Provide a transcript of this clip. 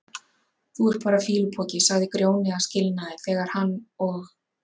Þú ert bara fýlupoki, sagði Grjóni að skilnaði þegar hann og